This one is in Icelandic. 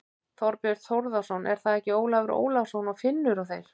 Þorbjörn Þórðarson: Er það ekki Ólafur Ólafsson og Finnur og þeir?